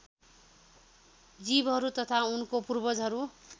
जीवहरू तथा उनको पूर्वजहरू